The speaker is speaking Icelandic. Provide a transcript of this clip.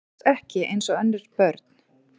Alls ekki eins og önnur börn.